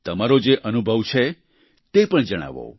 તમારો જે અનુભવ છે તે પણ જણાવો